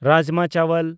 rajma ᱪᱟᱣᱟᱞ